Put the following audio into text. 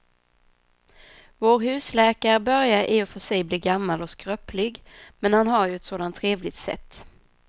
Vår husläkare börjar i och för sig bli gammal och skröplig, men han har ju ett sådant trevligt sätt!